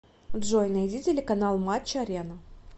джой найди телеканал матч арена